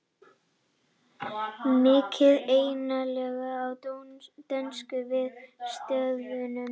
Mikið einelti á dönskum vinnustöðum